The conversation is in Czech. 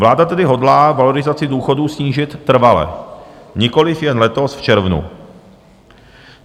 Vláda tedy hodlá valorizaci důchodů snížit trvale, nikoliv jen letos v červnu.